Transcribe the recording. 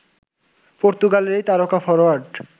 পর্তুগালের এই তারকা ফরোয়ার্ড